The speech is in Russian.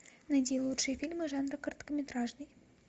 найди лучшие фильмы жанра короткометражный